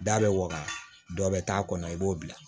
Da bɛ waga dɔ bɛ taa a kɔnɔ i b'o bila